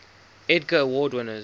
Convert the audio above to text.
edgar award winners